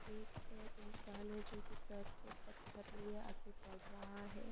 एक इंसान है जो की सर पे पत्थर लिए आगे बड़ रहा है।